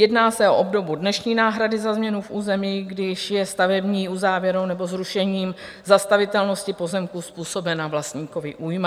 Jedná se o obdobu dnešní náhrady za změnu v území, když je stavební uzávěrou nebo zrušením zastavitelnosti pozemku způsobena vlastníkovi újma.